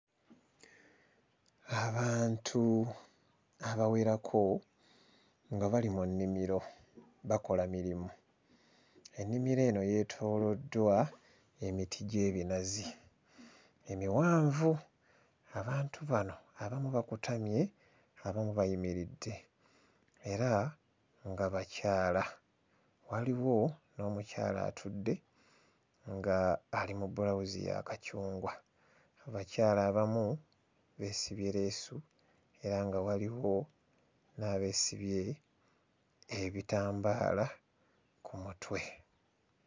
Abantu abawerako nga bali mu nnimiro bakola mirimu ennimiro eno yeetooloddwa emiti gy'ebinazi emiwanvu abantu bano abamu bakutamye abamu bayimiridde era nga bakyala waliwo n'omukyala atudde nga ali mu bbulawuzi ya kacungwa abakyala abamu beesibye leesu era nga waliwo n'abeesibye ebitambaala ku mutwe.